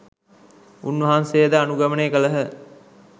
උන්වහන්සේ ද අනුගමනය කළහ.